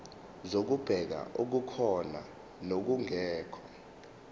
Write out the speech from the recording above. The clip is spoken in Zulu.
zokubheka okukhona nokungekho